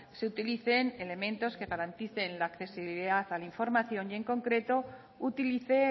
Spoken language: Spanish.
se utilicen elementos que garanticen la accesibilidad a la información y en concreto utilice